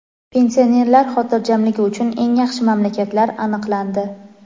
Pensionerlar xotirjamligi uchun eng yaxshi mamlakatlar aniqlandi.